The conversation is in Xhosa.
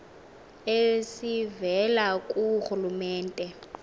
esivela ku rhulumente